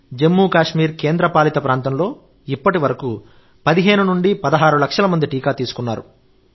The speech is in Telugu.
జమ్మూ కాశ్మీర్ కేంద్రపాలిత ప్రాంతంలో ఇప్పటివరకు 15 నుండి 16 లక్షల మంది టీకా తీసుకున్నారు